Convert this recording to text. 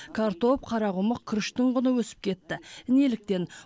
картоп қарақұмық күріштің құны өсіп кетті неліктен